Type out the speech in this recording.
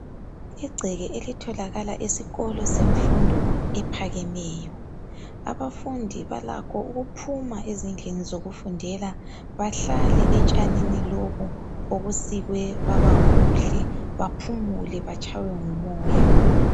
Igceke elitholakala esikolo semfundo ephakemeyo. Abafundi balakho ukuphuma ezindlini zokufundela bahlale etshanini lobu obusikwe baba buhle. Baphumule batshaywe ngumoya.